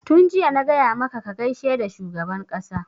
tun jiya na gaya maka ka gaishe da shugaban ƙasa!